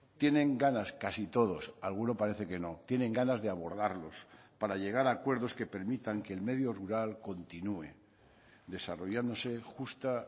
tienen ganas casi todos alguno parece que no tienen ganas de abordarlos para llegar a acuerdos que permitan que el medio rural continúe desarrollándose justa